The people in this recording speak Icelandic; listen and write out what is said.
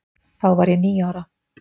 Þá var ég níu ára.